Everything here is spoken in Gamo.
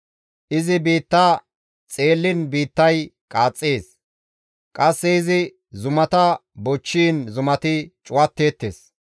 Izi biitta xeelliin biittay qaaxxees; qasse izi zumata bochchiin zumati cuwatteettes.